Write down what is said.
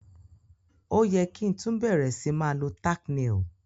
O ye ki tun bẹ̀rẹ̀ si ma lo tack nail